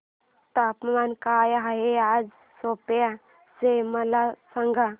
तापमान काय आहे आज सेप्पा चे मला सांगा